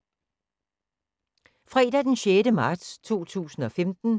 Fredag d. 6. marts 2015